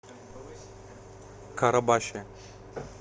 карабаше